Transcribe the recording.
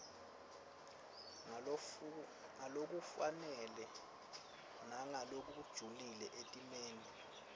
ngalokufanele nangalokujulile etimeni